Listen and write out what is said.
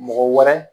Mɔgɔ wɛrɛ